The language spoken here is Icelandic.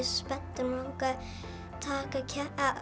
spenntur mig langaði að taka